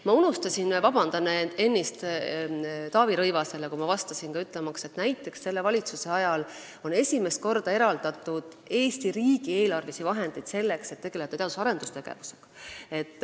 Palun vabandust, ennist, kui ma Taavi Rõivasele vastasin, ma unustasin ütelda, et näiteks on selle valitsuse ajal esimest korda eraldatud Eesti riigi eelarvelisi vahendeid teadus- ja arendustegevuse jaoks.